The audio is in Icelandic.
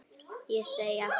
Ég segi aftur: Verið glaðir.